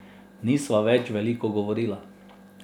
Nisva več veliko govorila.